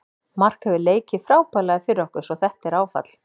Mark hefur leikið frábærlega fyrir okkur svo þetta er áfall.